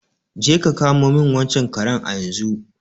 Je ka samo min wancan kare a yenzu!